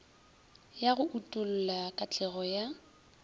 ya go utolla katlego ya